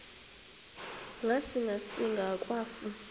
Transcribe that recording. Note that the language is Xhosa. ngasinga singa akwafu